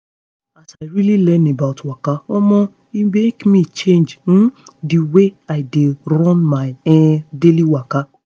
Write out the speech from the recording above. as i really learn about waka omo e make me change um the way i dey run my um daily waka.